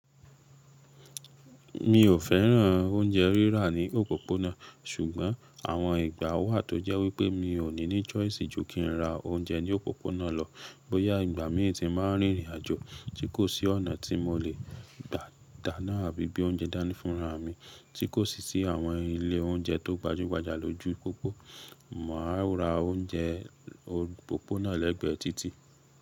Mi ò féràn oúnjẹ rírà ní òpópónà, ṣùgbọ́n àwọn ìgbà wà tó jẹ́ wípé mi ò ní ní choice ju kí n ra oúnjẹ ní òpópónà lọ. Bóyá ìgbà mi ti máa ń rìnrìn àjò tí kò sí ọ̀nà tí mo lè gbà dáná àbí bí oúnjẹ dání fúnra mi, tí kò sì sí àwọn ilé oúnjẹ tó gbajúgbajà lójú pópó, màá ra oúnjẹ òpópónà lẹ́gbẹ̀ẹ́ títì.